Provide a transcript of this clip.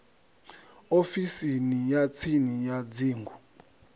ofisini ya tsini ya dzingu